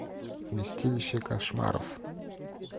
вместилище кошмаров